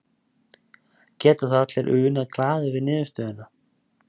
Geta þá allir unað glaðir við niðurstöðuna?